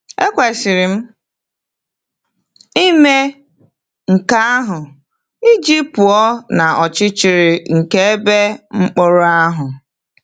Ekwesịrị m ime nke ahụ iji pụọ n’ọchịchịrị nke ebe mkpọrọ ahụ.